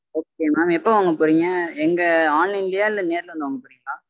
okay mam எப்போ வாங்க போறீங்க? எங்க online லயா இல்ல நேர்ல வந்து வாங்க போறிங்களா?